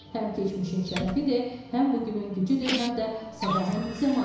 Həm keçmişin şərəfidir, həm bu günün gücüdür, həm də sabahın zəmanətidir.